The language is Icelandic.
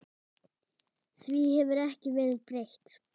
Því hefur ekki verið breytt.